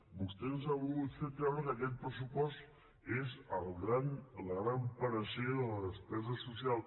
vostè ens ha volgut fer creure que aquest pressupost és la gran panacea de la despesa social